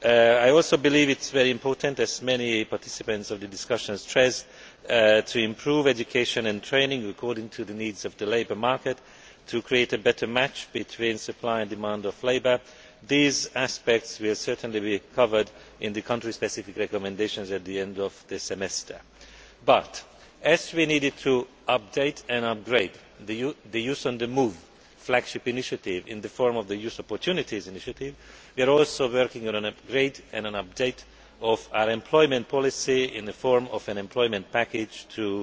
I also believe it is very important, as many participants in the discussion stressed, to improve education and training according to the needs of the labour market in order to create a better match between the supply of and the demand for labour. These aspects will be covered in the country specific recommendations at the end of this semester. However, as we needed to update and upgrade the Youth on the Move flagship initiative in the form of the Youth Opportunities initiative, we are also working on an upgrade and an update of our employment policy in the form of an employment package